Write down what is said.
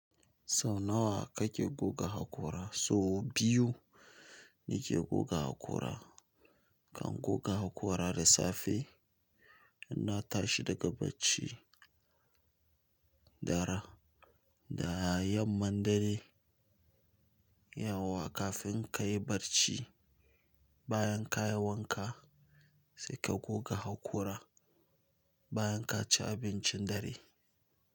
Sau nawa kake goga hakora? Sau biyu nake goga haƙora. Kan goga haƙora da safe, in na tashi daga barci, dara da yamman dare, yauwa kafin ka yi barci, bayan ka yi wanka sai ka goga haƙora, bayan ka ci abincin dare.